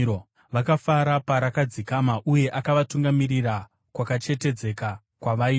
Vakafara parakadzikama, uye akavatungamirira kwakachengetedzeka kwavaida.